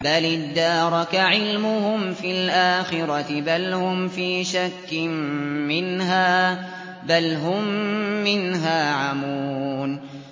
بَلِ ادَّارَكَ عِلْمُهُمْ فِي الْآخِرَةِ ۚ بَلْ هُمْ فِي شَكٍّ مِّنْهَا ۖ بَلْ هُم مِّنْهَا عَمُونَ